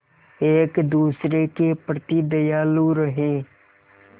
एक दूसरे के प्रति दयालु रहें